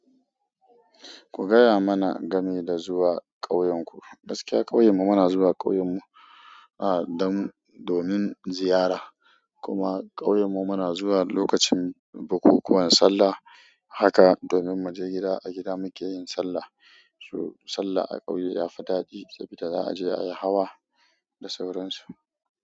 Ku gaya mana game da zuwa ƙauyenku. Gaskiya ƙauyen mu muna zuwa ƙauyen mu, ah, don, domin ziyara, kuma ƙauyen mu muna zuwa lokacin bukukuwan sallah. Haka domin mu je gida, a gida muke yin sallah. To sallah a ƙauye yafi daɗi sabida za aje ayi hawa da sauran su.